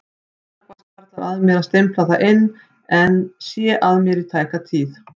Snöggvast hvarflar að mér að stimpla það inn en sé að mér í tæka tíð.